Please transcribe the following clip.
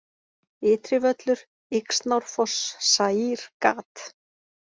Ytrivöllur, Yxnárfoss, Zaír, gat